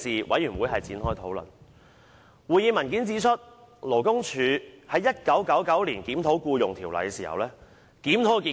我手上的會議文件，載列勞工處在1999年檢討《僱傭條例》的結果。